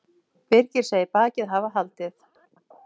Birgir segir bakið hafa haldið